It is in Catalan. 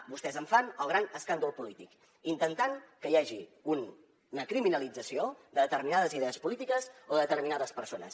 vostès en fan el gran escàndol polític intentant que hi hagi una criminalització de determinades idees polítiques o de determinades persones